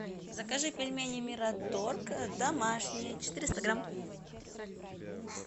закажи пельмени мираторг домашние четыреста грамм